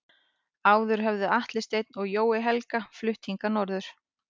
Áður höfðu Atli Sveinn og Jói Helga flutt hingað norður.